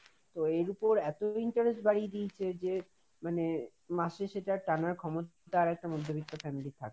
তো এর উপর এত interest বাড়িয়ে দিয়ছে যে মানে মাসে সেটা টানার ক্ষমতা তার একটা মধ্যবিত্ত family র থাকে না।